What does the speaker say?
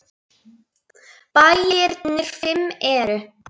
Bæirnir fimm eru